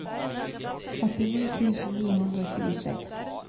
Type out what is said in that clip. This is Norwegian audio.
åttini tusen ni hundre og tjueseks